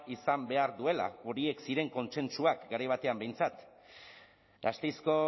izan behar duela horiek ziren kontsentsuak garai batean behintzat gasteizko